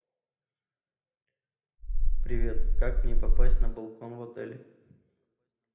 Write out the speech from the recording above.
привет как мне попасть на балкон в отеле